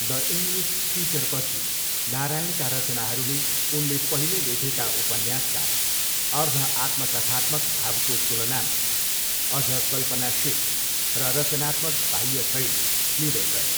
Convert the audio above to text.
The English टिचरपछि नारायणका रचनाहरूले उनले पहिले लेखेका उपन्यासका अर्ध आत्मकथात्मक भावको तुलनामा अझ कल्पनाशील र रचनात्मक बाह्य शैली लिँदै गए।